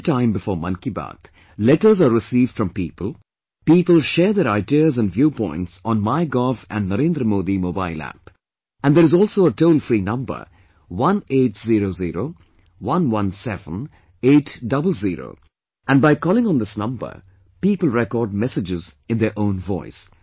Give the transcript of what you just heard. Every time before Mann Ki Baat, letters are received from people; people share their ideas and view points on Mygov and Narendra Modi Mobile App and there is also a toll free number 1800117800;and by calling on this number, people record messages in their own voice